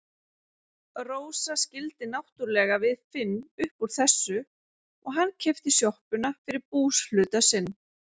Rósa skildi náttúrlega við Finn upp úr þessu og hann keypti sjoppuna fyrir búshluta sinn.